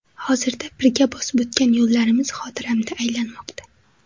Hozirda birga bosib o‘tgan yo‘llarimiz xotiramda aylanmoqda.